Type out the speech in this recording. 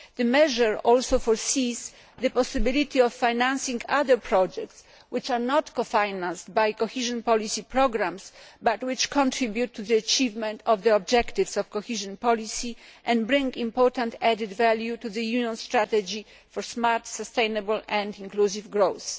The measure also foresees the possibility of financing other projects which are not co financed by cohesion policy programmes but which contribute to the achievement of the objectives of cohesion policy and bring important added value to the Union's strategy for smart, sustainable and inclusive growth.